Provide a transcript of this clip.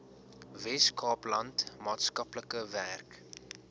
weskaapland maatskaplike werk